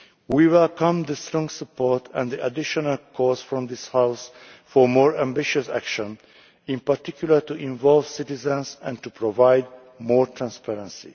EU. We welcome the strong support and additional calls from this House for more ambitious action, in particular to involve citizens and to provide more transparency.